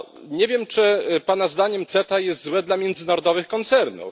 Nie wiem, czy pana zdaniem CETA jest złe dla międzynarodowych koncernów?